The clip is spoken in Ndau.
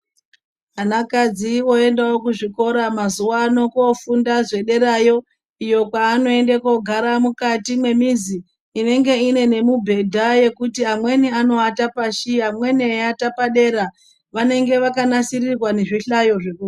Ana kadzi oendawo kuzvikora mazuva ano kofunda zvedera yoo iyoo kwaanoende kunogara mukati mwemizi inenge ine nemibhedha yekuti amweni anovata pashi amweni anowata padera vanenge vakanasirirwa nezvihlayo zvokuverengera.